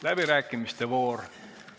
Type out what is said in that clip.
Läbirääkimiste voor.